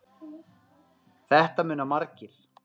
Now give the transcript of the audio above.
Þetta muna margir.